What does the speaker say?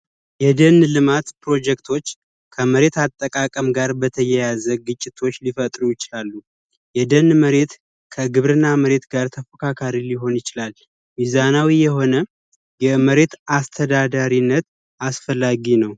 የደን ልማት ፕሮጀክቶች ከመሬት አጠቃቀም ጋር በተያያዘ ግጭቶች ሊፈጥሩ ይችላሉ። የደን መሬት ከግብርና መሬት ጋር ተፎካካሪ ሊሆነ ይችላል። ሚዛናዊ የሆነ የመሬት አስተዳደራዊነት አስፈላጊ ነው።